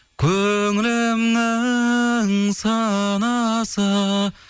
көңілімнің санасы